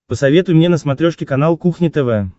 посоветуй мне на смотрешке канал кухня тв